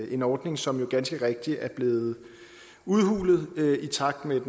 en ordning som ganske rigtigt er blevet udhulet i takt med